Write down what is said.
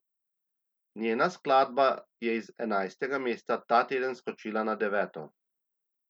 Njena skladba je iz enajstega mesta ta teden skočila na deveto.